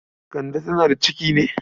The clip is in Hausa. Kande tana da ciki ne?